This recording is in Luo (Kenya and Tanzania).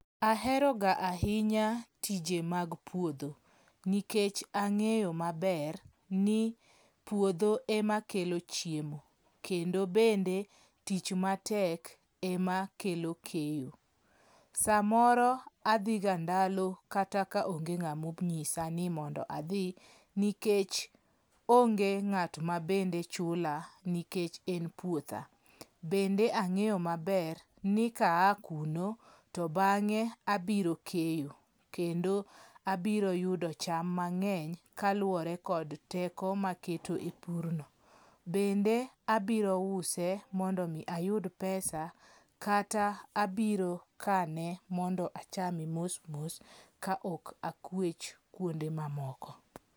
Aheroga ahinya tije mag puodho nikech ang'eyo maber ni puodho ema kelo chiemo. Kendo bende tich matek ema kelo keyo. Samoro adhiga ndalo kata kaonge ng'amonyisa ni mondo adhi nikech onge ng'at mabende chula nikech en puotha. Bende ang'eyo maber ni kaa kuno, to bang'e abiro keyo. Kendo abiro yudo cham mang'eny kaluwore kod teko maketo e pur no. Bende abiro use mondo mi ayud pesa, kata abiro kane mondo achame mos mos kaok akwech kuonde mamoko.